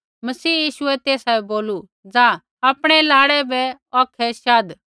मसीह यीशुऐ तेसा बै बोलू जा आपणै लाड़ै बै औखै शाधा